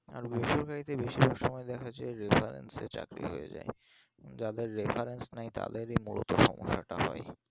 আর বেসরকরি তে বেশিরভাগ সময় দেখা যাই যে reference এ চাকরি হয়ে যাই যাদের reference নাই তাদেরই মূলত সমস্যাটা হয়